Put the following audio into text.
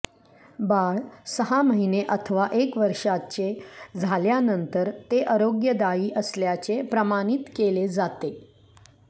बाळ सहा महिने अथवा एक वर्षाचे झाल्यानंतर ते आरोग्यदायी असल्याचे प्रमाणित केले जाते